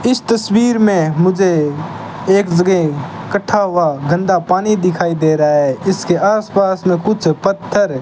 इस तसवीर में मुझे एक जगह इकट्ठा हुआ गंदा पानी दिखाई दे रहा है इसके आस पास में कुछ पत्थर --